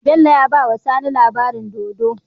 Bello yabawa sani labaranin dodo